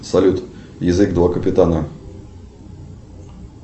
салют язык два капитана